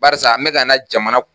Barisa n me ka na jamana